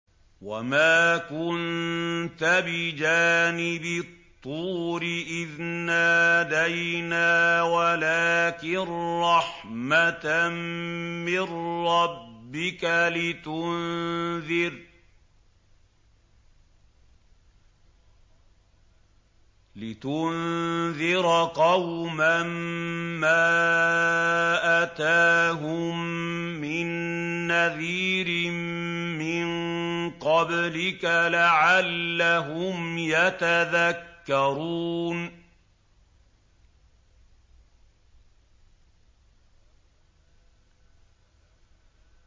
وَمَا كُنتَ بِجَانِبِ الطُّورِ إِذْ نَادَيْنَا وَلَٰكِن رَّحْمَةً مِّن رَّبِّكَ لِتُنذِرَ قَوْمًا مَّا أَتَاهُم مِّن نَّذِيرٍ مِّن قَبْلِكَ لَعَلَّهُمْ يَتَذَكَّرُونَ